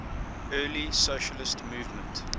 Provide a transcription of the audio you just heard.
early socialist movement